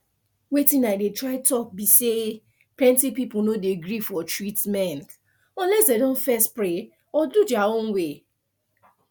wetin i dey try talk be say plenty people no dey agree for treatment unless dem don first pray or do their own way